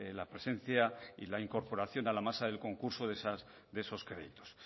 la presencia y la incorporación en la masa del concurso de esos créditos